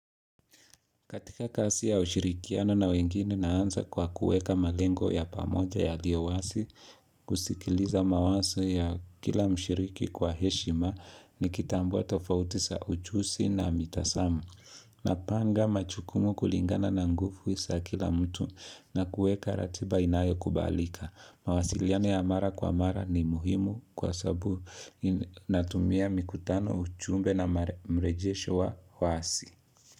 Katika kazi ya ushirikiano na wengine naanza kwa kuweka malengo ya pamoja yaliyo wazi, kusikiliza mawazo ya kila mshiriki kwa heshima ni kitambua tofauti za ujuzii na mitazamo. Napanga majukumu kulingana na nguvu za kila mtu na kuweka ratiba inayo kubalika. Mawasiliano ya mara kwa mara ni muhimu kwa sababu natumia mikutano ujumbe na mrejesho wa wazi.